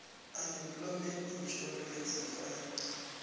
unemployment insurance fund